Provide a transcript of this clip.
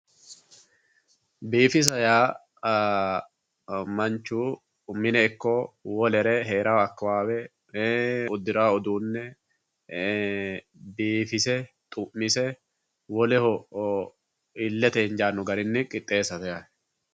biifisa yaa manchu mine ikko hee'ranno akkawaawe ee uddirawo uduunne ee biifise ,xu'mise woleho illete injaanno garinni qixxeessate yaate.